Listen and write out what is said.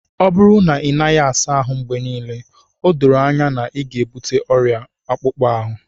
ọ bụrụ na ị naghị asa ahụ mgbe niile, o doro anya na ị ga-ebute ọrịa akpụkpọ ahụ